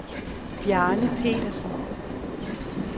Bjarne Pedersen